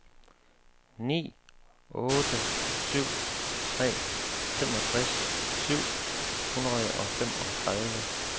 ni otte syv tre femogtres syv hundrede og femogtredive